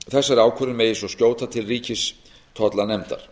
þessari ákvörðun megi svo skjóta til ríkistollanefndar þá er